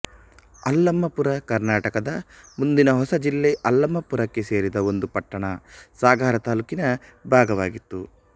ಅಲ್ಲಮಪುರ ಕರ್ನಾಟಕದ ಮುಂದಿನ ಹೊಸಜಿಲ್ಲೆ ಅಲ್ಲಮಪುರಕ್ಕೆ ಸೇರಿದ ಒಂದು ಪಟ್ಟಣ ಸಾಗರ ತಾಲ್ಲೂಕಿನ ಭಾಗವಾಗಿತ್ತು